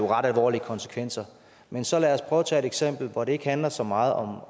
ret alvorlige konsekvenser men så lad os prøve at tage et eksempel hvor det ikke handler så meget om